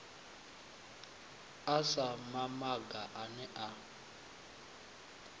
sa mamaga a ne a